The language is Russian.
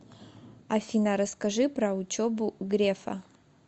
афина расскажи про учебу грефа